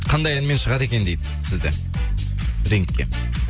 қандай әнмен шығады екен дейді сізді рингке